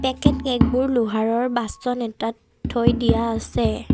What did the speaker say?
কে cake বোৰ লোহাৰৰ বাচন এটাত থৈ দিয়া আছে।